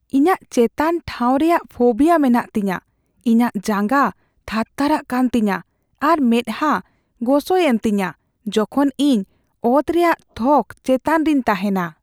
ᱤᱧᱟᱹᱜ ᱪᱮᱛᱟᱱ ᱴᱷᱟᱶ ᱨᱮᱭᱟᱜ ᱯᱷᱳᱵᱤᱭᱟ ᱢᱮᱱᱟᱜ ᱛᱤᱧᱟᱹ᱾ ᱤᱧᱟᱹᱜ ᱡᱟᱸᱜᱟ ᱛᱷᱟᱨᱛᱷᱟᱨᱟᱜ ᱠᱟᱱ ᱛᱤᱧᱟᱹ ᱟᱨ ᱢᱮᱸᱫᱦᱟ ᱜᱚᱥᱚᱭᱮᱱ ᱛᱤᱧᱟᱹ ᱡᱚᱠᱷᱚᱱ ᱤᱧ ᱚᱛ ᱨᱮᱭᱟᱜ ᱛᱷᱚᱠ ᱪᱮᱛᱟᱱ ᱨᱮᱧ ᱛᱟᱦᱮᱱᱟ ᱾